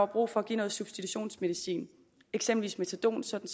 brug for at give noget substitutionsmedicin eksempelvis metadon sådan